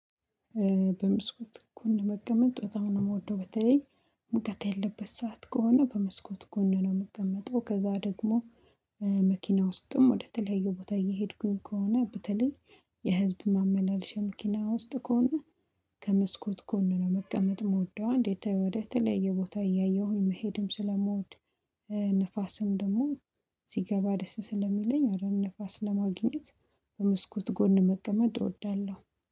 በመስኮት ጎን መቀመጥ በጠም ነው የምወደው በተለይ ሙቀት ያለበት ሰዓት ከሆነ በመስኮት ጎን ነው የምቀመጠው ከዛ ደግሞ መኪና ውስጥም ወደ ተለያየ ቦታ እየሄድኩኝ ከሆነ በተለይ የህዝብ ማመመላለሻ መኪና ውስጥ ከሆነ ከመስኮት ጎነ መቀመጥ ምወደው። አንዴ እንዴት ወደ ተለየ ቦታ እያየሁኝ መሄድም ስለምወድ ንፋስም ደግሞ ሲገባ ደስ ስለሚለኝ አረ ንፋስ ለማግኘት በመስኮት ጎን መቀመጥ እወዳለሁ